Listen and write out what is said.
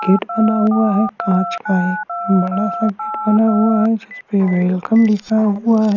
Gate बना हुआ है काच का है बडा सा गेट बना हुआ है जिसपे वेल्कम लिखा हुआ है।